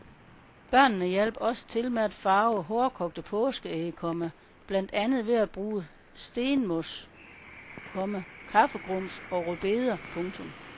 Børnene hjalp også til med at farve hårdkogte påskeæg, komma blandt andet ved at bruge stenmos, komma kaffegrums og rødbeder. punktum